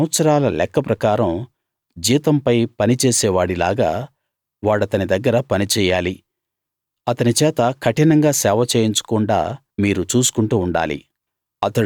సంవత్సరాల లెక్క ప్రకారం జీతంపై పని చేసే వాడి లాగా వాడతని దగ్గర పని చెయ్యాలి అతని చేత కఠినంగా సేవ చేయించకుండా మీరు చూసుకుంటూ ఉండాలి